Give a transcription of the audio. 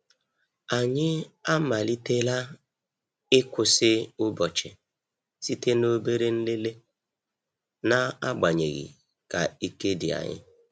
Anyị amalitela ịkwụsị ụbọchị site na obere nlele, na-agbanyeghi ka ike di anyi.